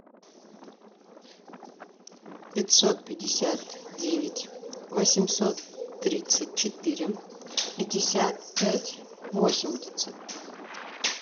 пятьсот пятьдесят девять восемьсот тридцать четыре пятьдесят пять восемьдесят